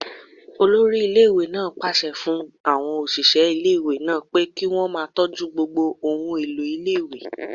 Olórí iléèwé náà pàṣẹ fún àwọn òṣìṣẹ́ iléèwé náà pé kí wọ́n máa tọ́jú gbogbo ohun èlò iléèwé